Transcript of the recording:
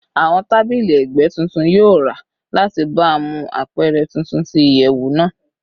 Awọn tabili ẹgbẹ titun yoo ra lati baamu apẹrẹ tuntun ti iyẹwu naa